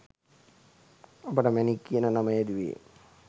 ඔබට මැණික් කියන නම යෙදුවෙ?